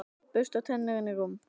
Bursta tennur, inn í rúm.